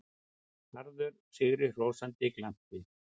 Harður, sigrihrósandi glampi.